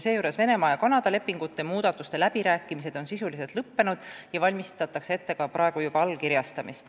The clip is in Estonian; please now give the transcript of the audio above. Venemaa ja Kanada lepingu muudatuste läbirääkimised on sisuliselt lõppenud ja valmistatakse ette nende allkirjastamist.